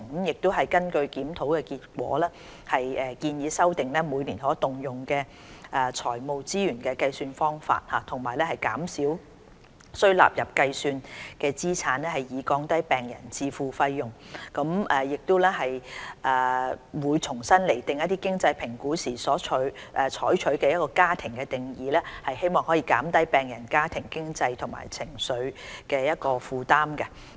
根據檢討結果，我們建議修訂每年可動用財務資源的計算方法，減少須納入計算的資產，以降低病人自付的費用；亦會重新釐定經濟評估時所採取的"家庭"定義，希望可以減輕病人家庭的經濟和情緒負擔。